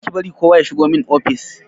Kar ki bari kowa ya shigo min ofis!